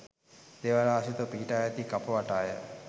දේවාල ආශ්‍රිතව පිහිටුවා ඇති කප වටාය.